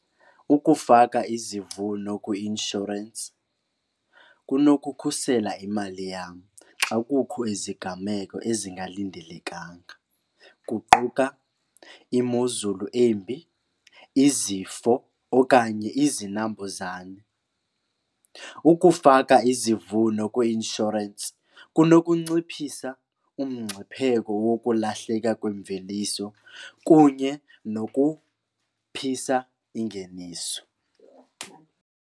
Ukufaka izivuno kwi-inshorensi kunokukhusela imali yam xa kukho iziganeko ezingalindelekanga kuquka imozulu embi, izifo okanye izinambuzane. Ukufaka izivuno kwi-inshorensi kunokunciphisa umngcipheko wokulahleka kwemveliso kunye nokuphisa ingeniso.